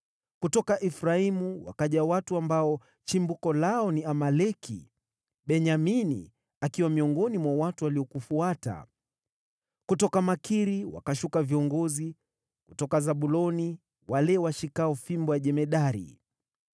Kutoka Efraimu wakaja watu, ambao chimbuko lao ni Amaleki; Benyamini akiwa miongoni mwa watu waliokufuata. Kutoka Makiri wakashuka viongozi, na kutoka Zabuloni wale washikao fimbo ya jemadari.